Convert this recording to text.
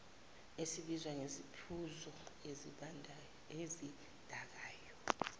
esibizwa ngesiphuzo esidakayo